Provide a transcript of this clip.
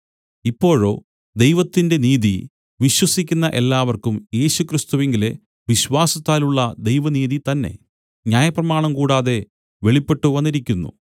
ഇപ്പോഴോ ദൈവത്തിന്റെ നീതി വിശ്വസിക്കുന്ന എല്ലാവർക്കും യേശുക്രിസ്തുവിങ്കലെ വിശ്വാസത്താലുള്ള ദൈവനീതിതന്നെ ന്യായപ്രമാണം കൂടാതെ വെളിപ്പെട്ടുവന്നിരിക്കുന്നു